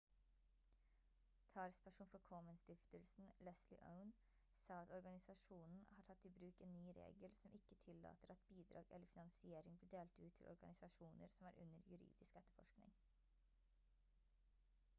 talsperson for komen-stiftelsen leslie aun sa at organisasjonen har tatt i bruk en ny regel som ikke tillater at bidrag eller finansiering blir delt ut til organisasjoner som er under juridisk etterforskning